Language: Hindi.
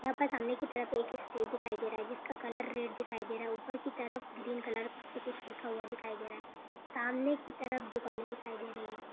यहाँ पर सामने की तरफ एक स्टेज दिखाई दे रहा है जिसका कलर रेड दिखाई दे रहा है ऊपर की तरफ ग्रीन कलर से कुछ लिखा हुआ दिखाई दे रहा है सामने की तरफ दुकानें दिखाई दे रही है।